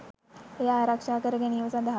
එය ආරක්ෂා කර ගැනීම සඳහා